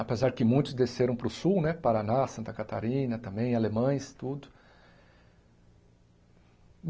Apesar que muitos desceram para o sul né, Paraná, Santa Catarina também, Alemães, tudo.